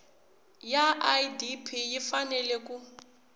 ya idp yi fanele ku